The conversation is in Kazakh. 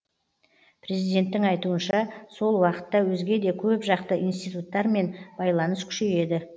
президенттің айтуынша сол уақытта өзге де көпжақты институттармен байланыс күшейеді